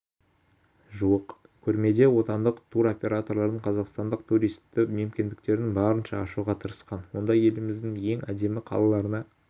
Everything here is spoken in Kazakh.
жуық көрмеде отандық тур-операторлар қазақстанның туристік мүмкіндіктерін барынша ашуға тырысқан онда еліміздің ең әдемі қалаларына